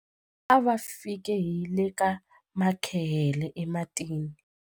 A va fike hi le ka makhehele ematini.